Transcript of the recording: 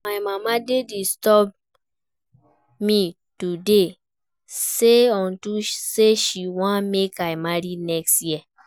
My mama dey disturb me to dey save unto say she wan make I marry next year